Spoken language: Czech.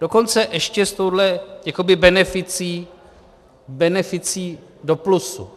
Dokonce ještě s touhle jakoby beneficí, beneficí do plusu.